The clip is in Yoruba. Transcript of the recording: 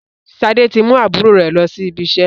Sade tí mú àbúrò rẹ lọ sí ibi iṣẹ́